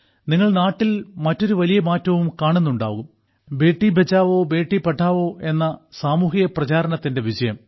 നിങ്ങൾ നാട്ടിൽ മറ്റൊരു വലിയ മാറ്റവും കാണുന്നുണ്ടാകും ബേഠി ബട്ടാവോ ബേഠി പഠാവോ എന്ന സാമൂഹിക പ്രചാരണത്തിന്റെ വിജയം